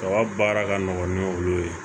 A ka baara ka nɔgɔ ni olu ye